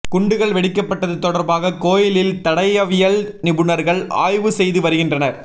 குண்டுகள் வெடிக்கப்பட்டது தொடர்பாக கோயிலில் தடயவியல் நிபுணர்கள் ஆய்வு செய்து வருகின்றனர்